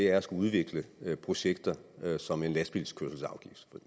er at skulle udvikle projekter som en lastbilkørselsafgift